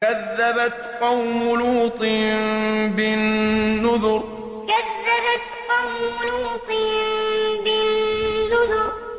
كَذَّبَتْ قَوْمُ لُوطٍ بِالنُّذُرِ كَذَّبَتْ قَوْمُ لُوطٍ بِالنُّذُرِ